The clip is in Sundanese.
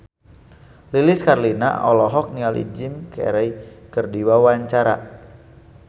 Lilis Karlina olohok ningali Jim Carey keur diwawancara